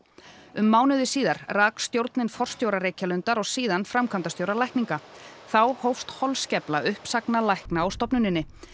um mánuði síðar rak stjórnin forstjóra Reykjalundar og síðan framkvæmdastjóra lækninga þá hófst holskefla uppsagna lækna á stofnuninni